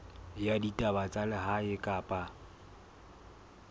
ya ditaba tsa lehae kapa